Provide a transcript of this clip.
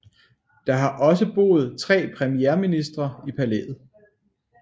Der har også boet tre premierministre i palæet